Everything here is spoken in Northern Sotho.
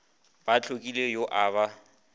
ba hlokile yo a ba